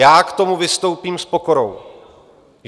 Já k tomu vystoupím s pokorou.